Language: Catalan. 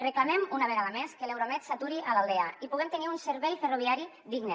reclamem una vegada més que l’euromed s’aturi a l’aldea i puguem tenir un servei ferroviari digne